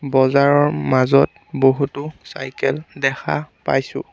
বজাৰৰ মাজত বহুতো চাইকেল দেখা পাইছোঁ।